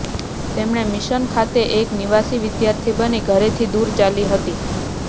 તેમણે મિશન ખાતે એક નિવાસી વિદ્યાર્થી બની ઘરેથી દૂર ચાલી હતી